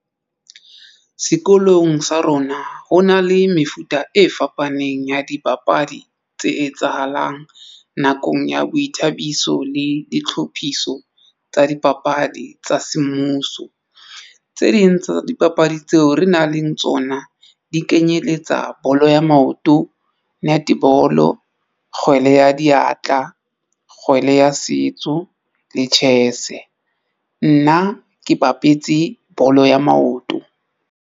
Sekolong sa rona ho na le mefuta e fapaneng ya dipapadi tse etsahalang nakong ya boithabiso le ditlhophiso tsa dipapadi tsa semmuso. Tse ding tsa dipapadi tseo re nang le tsona di kenyeletsa bolo ya maoto, netball, kgwele ya diatla, kgwele ya setso le chess. Nna ke bapetse bolo ya maoto.